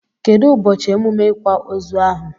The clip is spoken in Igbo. Kedu ụbọchị emume ikwa ozu ahụ?